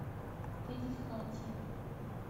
панихати